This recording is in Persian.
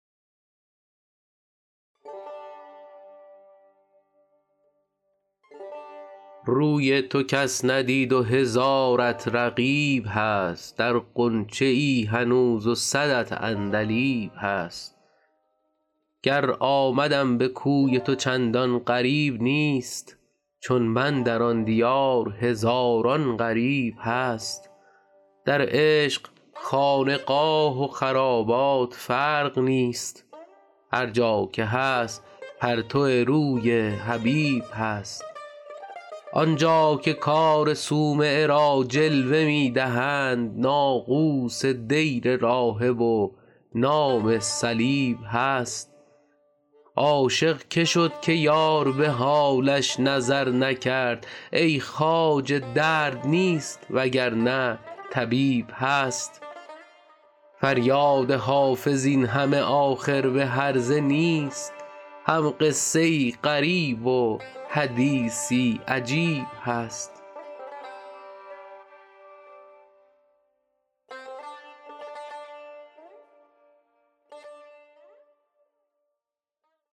روی تو کس ندید و هزارت رقیب هست در غنچه ای هنوز و صدت عندلیب هست گر آمدم به کوی تو چندان غریب نیست چون من در آن دیار هزاران غریب هست در عشق خانقاه و خرابات فرق نیست هر جا که هست پرتو روی حبیب هست آن جا که کار صومعه را جلوه می دهند ناقوس دیر راهب و نام صلیب هست عاشق که شد که یار به حالش نظر نکرد ای خواجه درد نیست وگرنه طبیب هست فریاد حافظ این همه آخر به هرزه نیست هم قصه ای غریب و حدیثی عجیب هست